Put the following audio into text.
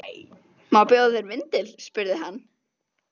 Má bjóða þér vindil? spurði hann.